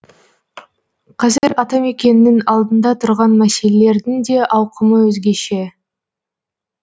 қазір атамекеннің алдында тұрған мәселелердің де ауқымы өзгеше